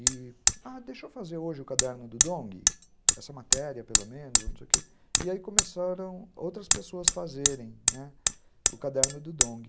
E, ah, deixa eu fazer hoje o caderno do Dong, essa matéria pelo menos, e não sei o quê, e aí começaram outras pessoas a fazerem o caderno do Dong.